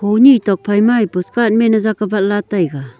honi tok phaimai poskat man jak vai taiga.